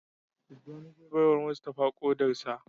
Tijjani zai baiwa Mustapha kodar sa.